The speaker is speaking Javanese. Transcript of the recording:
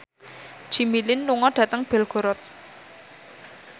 Jimmy Lin lunga dhateng Belgorod